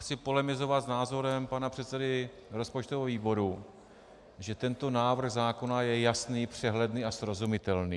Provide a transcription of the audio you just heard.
Chci polemizovat s názorem pana předsedy rozpočtového výboru, že tento návrh zákona je jasný, přehledný a srozumitelný.